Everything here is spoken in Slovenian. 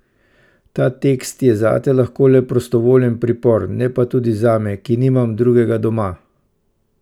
Ta tekst je zate lahko le prostovoljen pripor, ne pa tudi zame, ki nimam drugega doma.